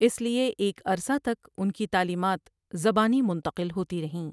اس لیے ایک عرصہ تک ان کی تعلیمات زبانی منتقل ہوتی رہیں ۔